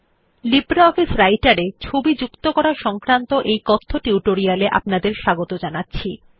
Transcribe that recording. LibreOffice Writer এ ছবি যুক্ত করা সংক্রান্ত এই কথ্য টিউটোরিয়াল এ আপনাদের স্বাগত জানাচ্ছি